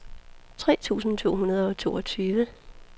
tre tusind to hundrede og toogtyve